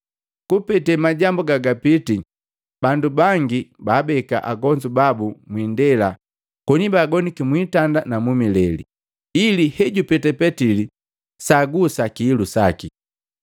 Kupete majambu gagapiti, bandu bangi baabeka agonzu babu mwiindela koni baagoniki mu itanda ni mileli, ili hejupeta Petili saagusa kihilu saki.